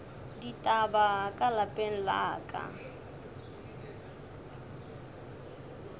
ditaba ka lapeng la ka